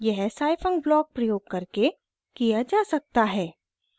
यह scifunc block प्रयोग करके किया जा सकता है